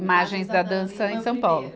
Imagens da Dança em São Paulo.